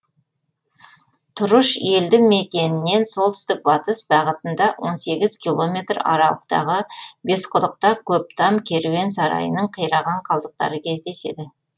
тұрыш елді мекенінен солтүстік батыс бағытында он сегіз километр аралықтағы бесқұдықта көптам керуен сарайының қираған қалдықтары кездеседі